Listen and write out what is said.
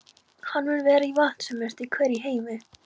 Hann mun vera vatnsmesti hver í heimi.